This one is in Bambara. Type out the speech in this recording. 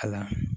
A la